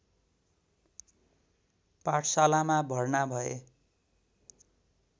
पाठशालामा भर्ना भए